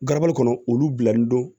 Garabali kɔnɔ olu bilalen don